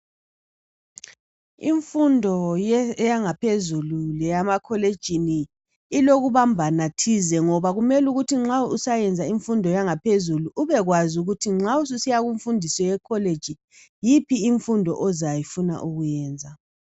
Imfundo yangaphezulu leyemakolitshini ilokubambana thize ngoba kumele ukuthi nxa usayenza imfundo yangaphezulu ubekwazi ukuthi nxa susiya kumfundo yekolitshini yiphi imfundo ozafuna ukuyenza.